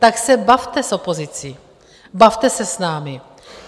Tak se bavte s opozicí, bavte se s námi.